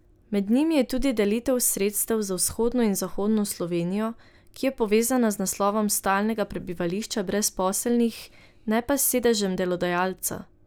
Med njimi je tudi delitev sredstev na vzhodno in zahodno Slovenijo, ki je povezana z naslovom stalnega prebivališča brezposelnih, ne pa s sedežem delodajalca.